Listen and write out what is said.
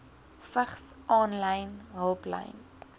vigs aanlyn hulplyn